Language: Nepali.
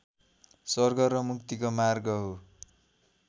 स्वर्ग र मुक्तिको मार्ग हो